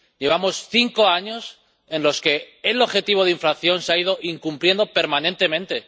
Llevamos cinco años en los que el objetivo de inflación se ha ido incumpliendo permanentemente